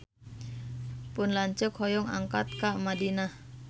Pun lanceuk hoyong angkat ka Madinah